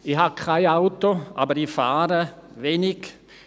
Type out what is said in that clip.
Ich habe kein Auto, aber ich fahre wenig.